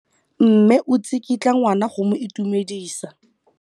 Mme o tsikitla ngwana go mo itumedisa.